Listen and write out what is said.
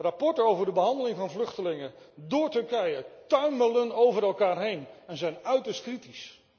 Rapporten over de behandeling van vluchtelingen door Turkije tuimelen over elkaar heen en zijn uiterst kritisch.